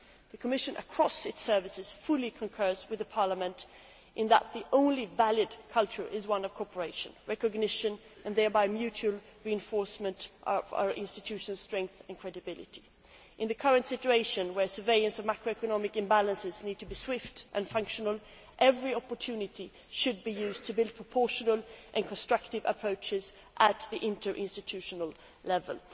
The Commission, across its departments, fully concurs with Parliament in that the only valid culture is one of cooperation, recognition and thereby mutual reinforcement of our institutions' strength and credibility. In the current situation, where surveillance of macroeconomic imbalances needs to be swift and functional, every opportunity should be used to build proportional and constructive approaches at interinstitutional level.